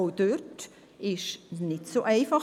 Auch dort ist es nicht so einfach: